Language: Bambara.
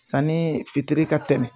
Sanni fitiri ka tɛmɛn.